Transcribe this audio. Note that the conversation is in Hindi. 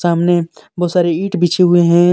सामने बहुत सारे ईंट बिछे हुए हैं।